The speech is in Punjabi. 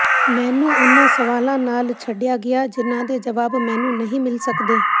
ਮੈਨੂੰ ਉਨ੍ਹਾਂ ਸਵਾਲਾਂ ਨਾਲ ਛੱਡਿਆ ਗਿਆ ਜਿਨ੍ਹਾਂ ਦੇ ਜਵਾਬ ਮੈਨੂੰ ਨਹੀਂ ਮਿਲ ਸਕਦੇ